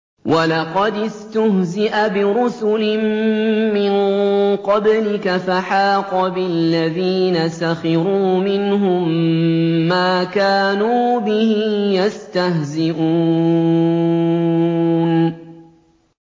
وَلَقَدِ اسْتُهْزِئَ بِرُسُلٍ مِّن قَبْلِكَ فَحَاقَ بِالَّذِينَ سَخِرُوا مِنْهُم مَّا كَانُوا بِهِ يَسْتَهْزِئُونَ